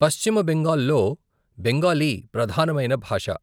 పశ్చిమ బెంగాల్ లో బెంగాలీ ప్రధానమైన భాష.